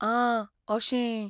आ, अशें.